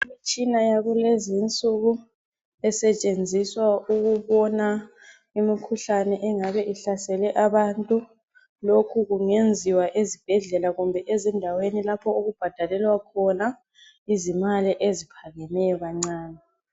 Umtshina wakulezinsuku esetshenziswa ukubona imikhuhlane engabe ihlasele abantu lokhu kungeziwa ezibhedlela kumbe ezindaweni lapho okubhadalelwa khona izimali eziphakemeyo kancane.